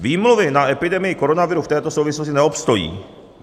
Výmluvy na epidemii koronaviru v této souvislosti neobstojí.